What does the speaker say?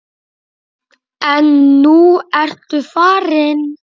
En nú ertu farin.